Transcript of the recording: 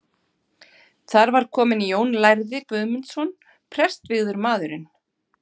Þar var kominn Jón lærði Guðmundsson, prestvígður maðurinn.